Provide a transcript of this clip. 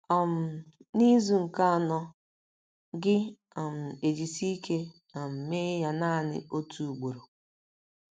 um N’izu nke anọ, gị um ejisie ike um mee ya naanị otu ugboro.